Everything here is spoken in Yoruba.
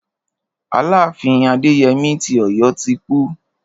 Aláàfin Adéyemí ti Ọ̀yọ́ ti kú.